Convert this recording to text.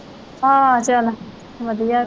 ਹਾਂ ਚੱਲ ਵਧੀਆ।